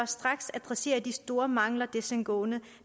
straks adressere de store mangler desangående